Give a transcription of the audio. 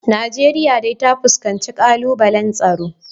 Najeriya dai ta fuskanci kalubalen tsaro